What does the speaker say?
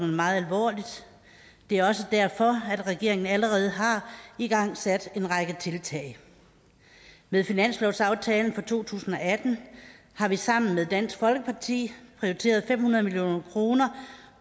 meget alvorligt det er også derfor at regeringen allerede har igangsat en række tiltag med finanslovsaftalen for to tusind og atten har vi sammen med dansk folkeparti prioriteret fem hundrede million kroner